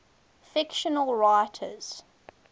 fictional writers